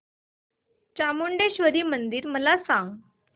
चामुंडेश्वरी मंदिर मला सांग